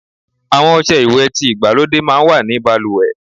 Àwon ose ìwè ti igbalode máa n wa ní baluwe